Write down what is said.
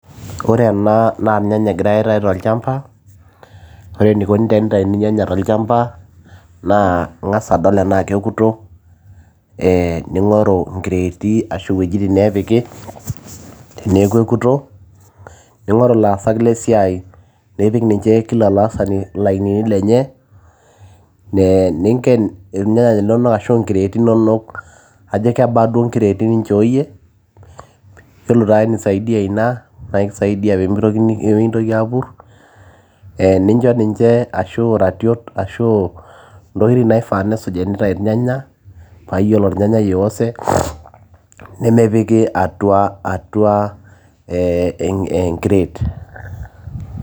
Ore ena na irnyanya egirai aitau tolchamba ,ore enikoni teneitauni irnyanya tolchampa ,naa ingasa adol ana keoto ee ningoru nkereti ashu a wuejitin naapiki, teneaku ekuto ningorul laasak lesiai nipik ninche kila laasani lainini lenye ,ee ninken irnyanya linonok arashu a nkeriti inonok ,ajo kebaa duo nkreti nichooyie, kelotu ake nisaidia ina nakisaidia pemintoki pemitokini apur ,e nicho ninche e ashu ratiot ashu ntokitin naifaa peesuj enenya na iyolo ornyanyai oioze, nemepiki atua atua atua ee enkret.